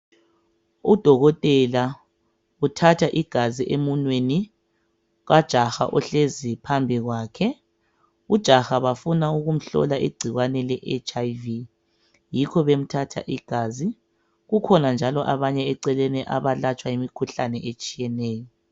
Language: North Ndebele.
Udokotela uthatha igazi emunweni kajaha ohlezi phambi kwakhe. Ujaha bafuna ukumhlola igcikwane le HIV yikho bemthatha igazi. Kukhona njalo abanye eceleni abalatshwa imikhuhlane etshiyeneyo